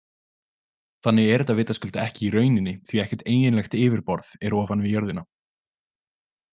Þannig er þetta vitaskuld ekki í rauninni því ekkert eiginlegt yfirborð er ofan við jörðina.